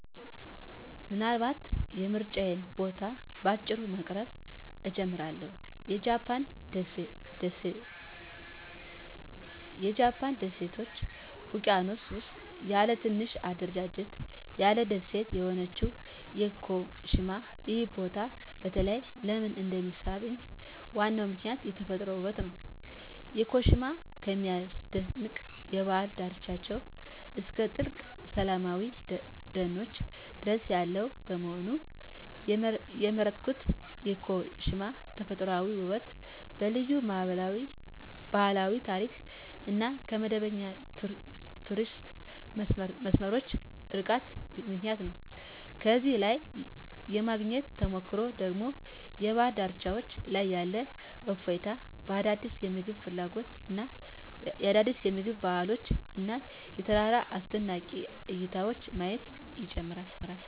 ምናልባት የምርጫዬን ቦታ በአጭሩ በማቅረብ እጀምራለሁ -የጃፓን ደሴቶች ውቅያኖስ ውስጥ ያለ ትንሽ አደረጃጀት ያለው ደሴት የሆነችው ያኮሺማ። ይህ ቦታ በተለይ ለምን እንደሚሳብኝ ዋናው ምክንያት የተፈጥሮ ውበቱ ነው። ያኮሺማ ከሚያስደንቅ የባህር ዳርቻዎች እስከ ጥልቅ ሰላማዊ ደኖች ድረስ ያለው በመሆኑ። የመረጥኩት ያኮሺማ በተፈጥሯዊ ውበቷ፣ በልዩ ባህላዊ ታሪክ እና ከመደበኛ የቱሪስት መስመሮች ርቃታ ምክንያት ነው። እዚያ ላይ የማግኘት ተሞክሮ ደግሞ በባህር ዳርቻዎች ላይ ያለ እፎይታ፣ አዳዲስ የምግብ ባህሎች እና የተራራ አስደናቂ እይታዎችን ማየት ይጨምራል።